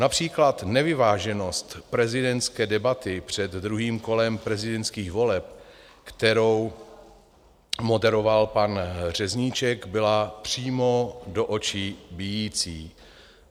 Například nevyváženost prezidentské debaty před druhým kolem prezidentských voleb, kterou moderoval pan Řezníček, byla přímo do očí bijící.